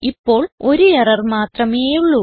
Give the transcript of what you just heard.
ഇപ്പോൾ ഒരു എറർ മാത്രമേയുള്ളൂ